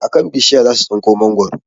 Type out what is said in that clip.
A kan bishiya za su tsinko mangwaro